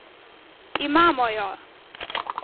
Imamo jo!